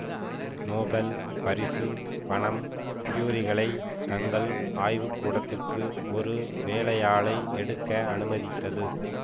Nobel பரிசு பணம் குயுரிகளை தங்கள் ஆய்வுக்கூடத்திற்கு ஒரு வேலையாளை எடுக்கு அனுமதித்தது